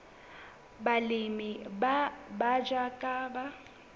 balemi ba batjha ba ka